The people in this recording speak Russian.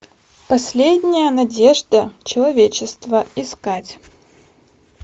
последняя надежда человечества искать